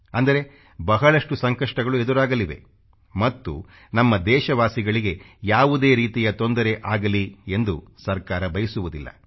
ಅಂದರೆ ಬಹಳಷ್ಟು ಸಂಕಷ್ಟಗಳು ಎದುರಾಗಲಿವೆ ಮತ್ತು ನಮ್ಮ ದೇಶವಾಸಿಗಳಿಗೆ ಯಾವುದೇ ರೀತಿಯ ತೊಂದರೆ ಆಗಲಿ ಎಂದು ಸರ್ಕಾರ ಬಯಸುವುದಿಲ್ಲ